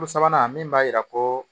Ko sabanan min b'a jira ko